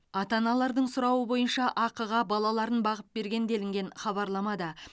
ата аналардың сұрауы бойынша ақыға балаларын бағып берген делінген хабарламада